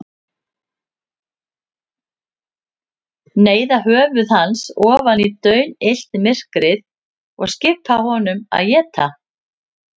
Neyða höfuð hans ofan í daunillt myrkrið og skipa honum að éta.